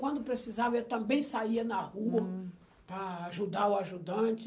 Quando precisava, eu também saía na rua hm para ajudar o ajudante.